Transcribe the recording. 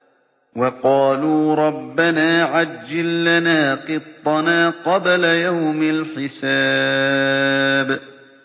وَقَالُوا رَبَّنَا عَجِّل لَّنَا قِطَّنَا قَبْلَ يَوْمِ الْحِسَابِ